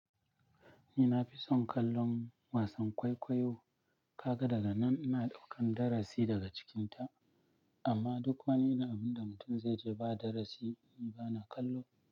Ni na fi son kallon wasan kwaikwayo, kaga daga nan ina ɗaukan darasi daga cikinta. Amma duk wani abu da mutum zai je ba darasi, ni bana kallo.